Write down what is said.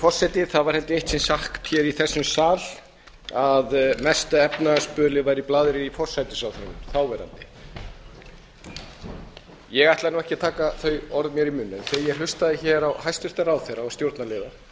forseti það var eitt sinn sagt í þessum sal að mesta efnahagsbölið væri blaðrið í þáverandi forsætisráðherra ég ætla ekki að taka þau orð mér í munn en þegar ég hlustaði á orð hæstvirts ráðherra eða stjórnarliða þá